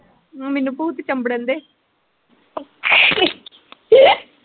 ਮੈਨੂੰ ਭੂਤ ਚਮਬੜਨ ਦਏ .